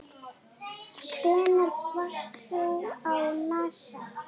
Hvenær varst þú á NASA?